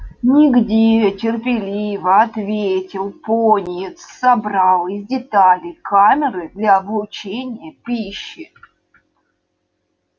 нигде терпеливо ответил пониетс собрал из деталей камеры для облучения пищи